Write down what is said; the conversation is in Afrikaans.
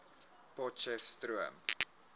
potcheftsroom